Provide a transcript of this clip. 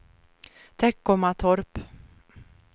Teckomatorp